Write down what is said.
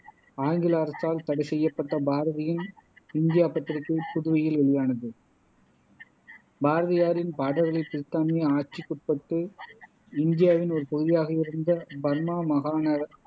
ஆங்கில அரசால் தடை செய்யப்பட்ட பாரதியின் இந்தியா பத்திரிகை புதுவையில் வெளியானது பாரதியாரின் பாடல்களை பிரித்தானிய ஆட்சிக்குட்பட்டு இந்தியாவின் ஒரு பகுதியாக இருந்த பர்மா மாகாண